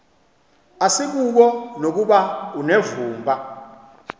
asikuko nokuba unevumba